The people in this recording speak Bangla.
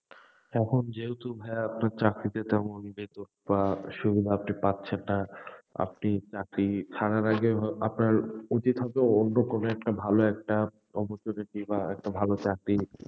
এখন যেহেতু ভাইয়া আপনার চাকরিতে তেমন বেতন বা সুবিধা আপনি পাচ্ছেন না আপনি চাকরি ছাড়ার আগে, আপনার উচিৎ হবে অন্য কোন একটা, ভালো একটা অবস্থা দেখেই বা একটা ভালো চাকরি,